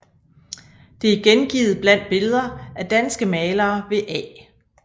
Det er gengivet blandt Billeder af danske Malere ved A